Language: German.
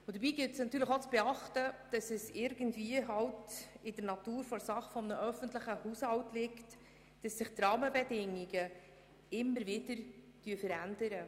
Dabei gilt es natürlich auch zu beachten, dass es in der Natur eines öffentlichen Haushalts liegt, dass sich die Rahmenbedingungen ständig wandeln.